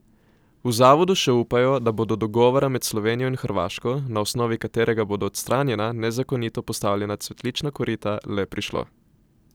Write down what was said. V zavodu še upajo, da bo do dogovora med Slovenijo in Hrvaško, na osnovi katerega bodo odstranjena nezakonito postavljena cvetlična korita, le prišlo.